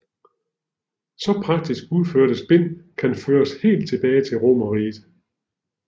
Så praktisk udført spin kan føres helt tilbage til romerriget